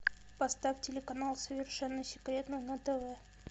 поставь телеканал совершенно секретно на тв